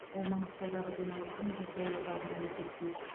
ол маңғыстаудағы демалысын жүз долларға ғана есептейді